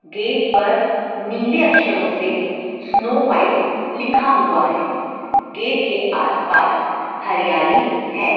Gate पर नीले अक्षरों से स्नो व्हाइट लिखा हुआ है गेट के आस पास हरियाली है।